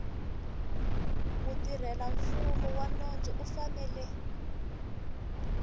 mutirhelamfumo wa nondzo u fanele